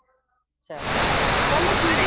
ਚੱਲ ਚਲੋ ਠੀਕ ਏ